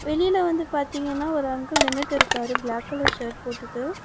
வெளில வந்து பாத்தீங்கன்னா ஒரு அங்கிள் நின்னுட்டு இருக்காரு பிளாக் கலர் ஷர்ட் போட்டுட்டு.